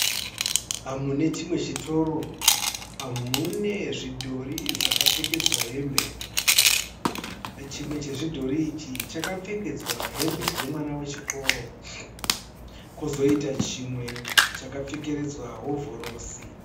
Mune chimwe chitoro mune zvidhori zvakapfekedzwa hembe. Chimwe chezvidhori ichi chakapfekedzwa hembe dzemwana wechikoro. Kwozoita chimwe chakapfekedzwa hovhorosi.